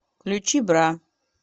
включи бра